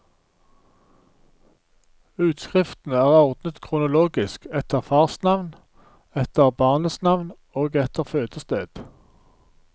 Utskriftene er ordnet kronologisk, etter farsnavn, etter barnets navn og etter fødested.